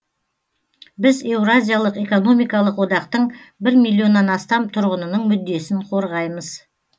біз еуразиялық экономикалық одақтың бір миллионнан астам тұрғынының мүддесін қорғаймыз